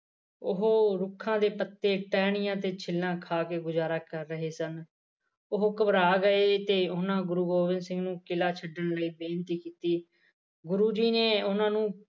ਉਹ ਰੁੱਖਾ ਦੇ ਪੱਤੇ ਟਾਹਣੀਆ ਦੇ ਛਿੱਲਾ ਖਾ ਕੇ ਗੁਜਾਰਾ ਕਰ ਰਹੇ ਸਨ ਉਹ ਘਬਰਾ ਗਏ ਤੇ ਉਹਨਾਂ ਗੁਰੂ ਗੋਬਿੰਦ ਸਿੰਘ ਨੂੰ ਕਿੱਲ੍ਹਾ ਛੱਡਣ ਲਈ ਬੇਨਤੀ ਕੀਤੀ ਗੁਰੂ ਜੀ ਨੇ ਉਹਨਾਂ ਨੂੰ